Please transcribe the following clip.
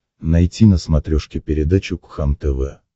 найти на смотрешке передачу кхлм тв